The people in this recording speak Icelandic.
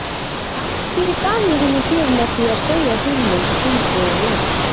Kannski gaf ég henni gjöf með því að segja hug minn umbúðalaust.